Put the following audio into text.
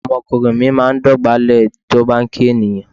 Ọmọkùnrin mi máa dọ̀bálẹ̀ nígbà tí ó bá kí ènìyàn.